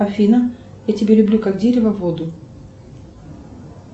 афина я тебя люблю как дерево воду